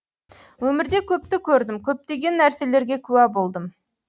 өмірде көпті көрдім көптеген нәрселерге куә болдым